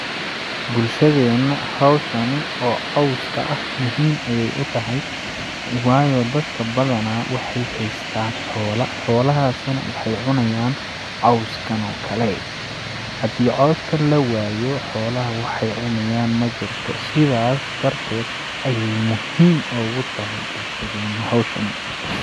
Bulshadeena hawshani oo cawska ah muhiim ay u tahay waayo dadka badanaa waxeey hestaan xoola ,xoola haasi na waxeey cunayaan cawskanoo kale ,hadii cawska lawaayo xoolaha waxeey cuniyaan majirto sidaas darteed ayeey muhiim ogu tahay bulshadeena hawshani.